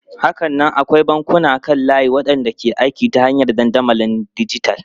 Hakanan akwai bankunan kan layi waɗanda ke aiki ta hanyar dandamalin dijital.